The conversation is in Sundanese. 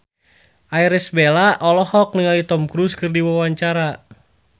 Irish Bella olohok ningali Tom Cruise keur diwawancara